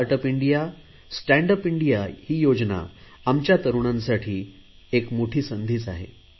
start up India stand up India योजना आमच्या तरुणांसाठी एक मोठी संधी आहे